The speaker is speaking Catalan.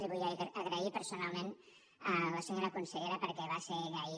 li vull agrair personalment a la senyora consellera perquè va ser ella ahir